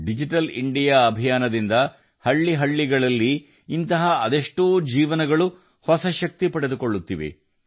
digital India ಅಭಿಯಾನದಿಂದ ಹಳ್ಳಿಗಳಲ್ಲಿ ಇಂತಹ ಎಷ್ಟು ಜೀವಗಳು ಹೊಸ ಶಕ್ತಿ ಪಡೆಯುತ್ತಿವೆ